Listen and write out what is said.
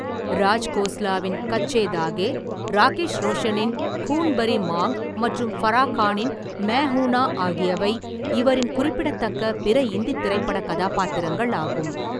ராஜ்கோஸ்லாவின் கச்சே தாகே, ராகேஷ் ரோஷனின் கூன் பரி மாங் மற்றும் ஃபரா கானின் மே ஹூனா ஆகியவை இவரின் குறிப்பிடத்தக்க பிற இந்தித் திரைப்ப்படக் கதாபாத்திரங்கள் ஆகும்.